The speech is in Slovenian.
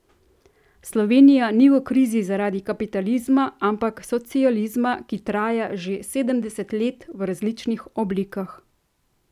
Slovenija ni v krizi zaradi kapitalizma, ampak socializma, ki traja že sedemdeset let v različnih oblikah.